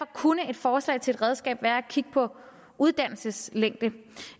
kunne et forslag til et redskab være at kigge på uddannelseslængden